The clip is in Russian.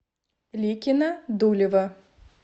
ликино дулево